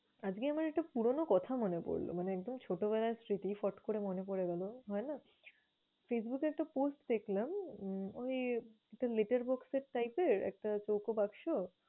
আজকে আমার একটা পুরনো কথা মনে পরলো, মানে একদম ছোটবেলার স্মৃতি ফট করে মনে পরে গেল। হয়না? ফেসবুকে একটা post দেখলাম উম ওই একটা little box এর type এর একটা চৌকো বাক্সো